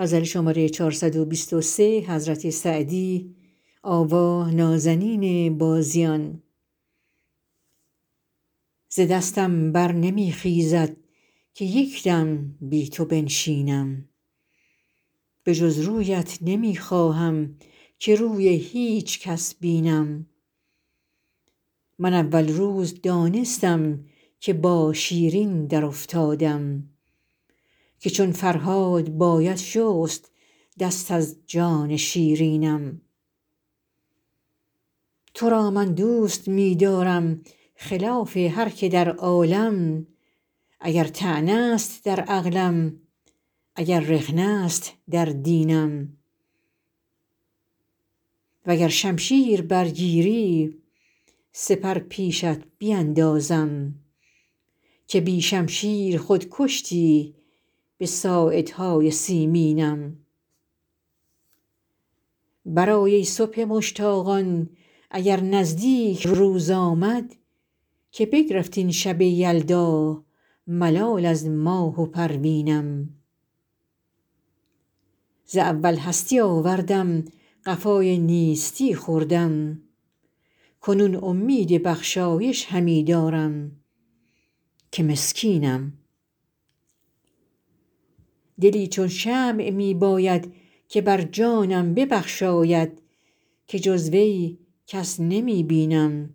ز دستم بر نمی خیزد که یک دم بی تو بنشینم به جز رویت نمی خواهم که روی هیچ کس بینم من اول روز دانستم که با شیرین درافتادم که چون فرهاد باید شست دست از جان شیرینم تو را من دوست می دارم خلاف هر که در عالم اگر طعنه است در عقلم اگر رخنه است در دینم و گر شمشیر برگیری سپر پیشت بیندازم که بی شمشیر خود کشتی به ساعدهای سیمینم برآی ای صبح مشتاقان اگر نزدیک روز آمد که بگرفت این شب یلدا ملال از ماه و پروینم ز اول هستی آوردم قفای نیستی خوردم کنون امید بخشایش همی دارم که مسکینم دلی چون شمع می باید که بر جانم ببخشاید که جز وی کس نمی بینم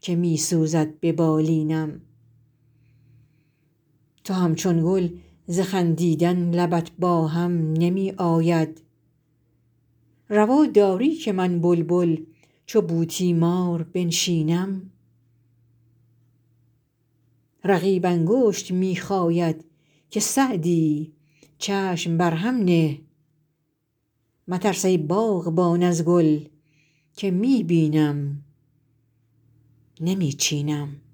که می سوزد به بالینم تو همچون گل ز خندیدن لبت با هم نمی آید روا داری که من بلبل چو بوتیمار بنشینم رقیب انگشت می خاید که سعدی چشم بر هم نه مترس ای باغبان از گل که می بینم نمی چینم